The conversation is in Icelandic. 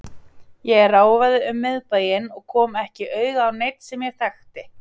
Ég ráfaði um miðbæinn og kom ekki auga á neinn sem ég þekkti.